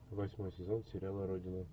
восьмой сезон сериала родина